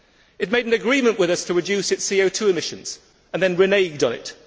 It made an agreement with us to reduce its CO 2 emissions and then reneged on it.